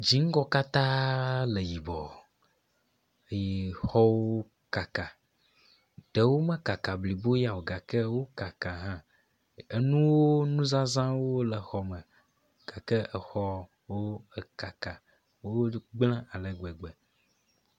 Dzingɔ katã le yibɔ eye xɔwo kaka ɖewo mekaka blibo ya o gake wo kaka hã. Enuwo nuzazawo le xɔ me gake exɔwo ekaka wo gble ale gbegbe.